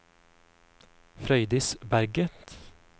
Frøydis Berget